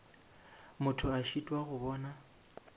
motho a šitwa go bona